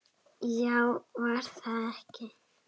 Já, var það ekki?